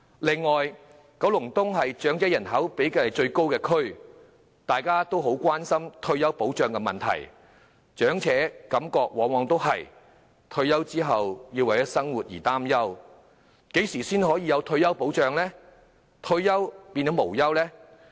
另外，九龍東是長者人口比例最高的地區，大家都很關心退休保障的問題，長者的感覺往往是退休後要為生活擔憂，何時才能有退休保障，令退而無憂呢？